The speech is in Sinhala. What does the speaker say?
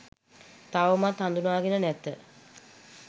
තවමත් හඳුනාගෙන නැත.